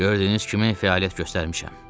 Gördüyünüz kimi fəaliyyət göstərmişəm.